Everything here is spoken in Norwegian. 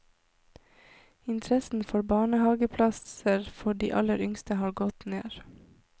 Interessen for barnehaveplasser for de aller yngste har gått ned.